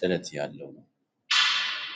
ጥለት ያለው ነው።